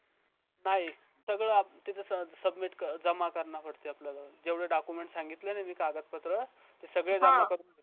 नाही सगळं आपला तिकडे submit जमा करणा पडते आपल्याला जेवढे document सांगितलेलं कागदपत्र सगळे जमा